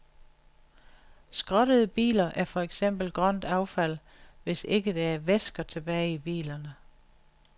Skrottede biler er for eksempel grønt affald, hvis ikke der er væsker tilbage i bilerne.